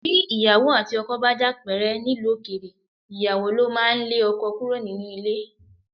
Bí ìyàwó àti ọkọ bá jà pẹ́rẹ́ nílùú òkèèrè, ìyàwó ló máa ń lé ọkọ kúrò nínú ilé